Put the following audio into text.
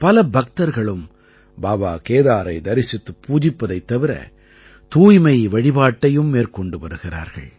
பல பக்தர்களும் பாபா கேதாரை தரிசித்துப் பூஜிப்பதைத் தவிர தூய்மை வழிபாட்டையும் மேற்கொண்டு வருகிறார்கள்